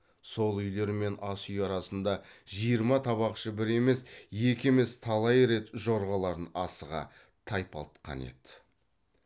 сол үйлер мен ас үй арасында жиырма табақшы бір емес екі емес талай рет жорғаларын асыға тайпалтқан еді